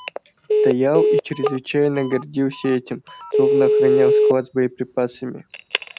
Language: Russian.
стоял и чрезвычайно гордился этим словно охранял склад с боеприпасами